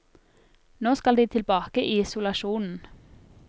Nå skal de tilbake i isolasjonen.